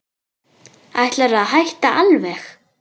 Ætlarðu að hætta alveg.